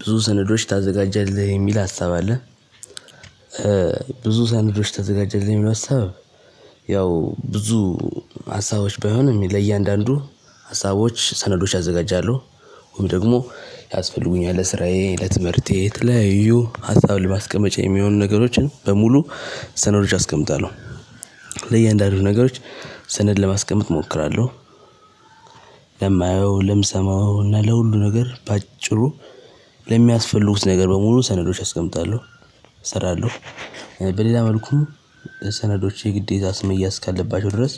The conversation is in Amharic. ብዙ ሰነዶች ታዘጋጃለህ የሚል ሀሳብ አለ። ብዙ ሰነዶች ታዘጋጀለህ የሚለው ሀሳብ ያው ብዙ ሀሳቦች ባይሆንም ለእያንዳንዱ ሀሳቦች ሰነዶች አዘጋጃለሁ። ወይም ደግሞ ያስፈልጉኛል ለስራዬ ለትምህርቴ የተለያዩ ሀሳብ ለማስቀመጫ የሚሆኑ ነገሮችን በሙሉ ሰነዶች አስቀምጣለሁ። ለእያንዳንዱ ነገሮች ሰነድ ለማስቀመጥ እሞክራለሁ። ለማየው ለምሰማው እና ለሁሉ ነገር በአጭሩ ለሚያስፈልጉት ነገር በሙሉ ሰነዶች አስቀምጣለሁ። እሰራለሁ። በሌላ መልኩ ሰነዶች የግዴታ መያዝ እስካለባቸው ድረስ